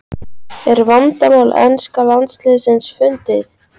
Er vandamál enska landsliðsins fundið?